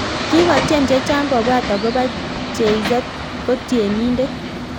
Kikotyem chechang kobwat akopoo Jay z ko tienindet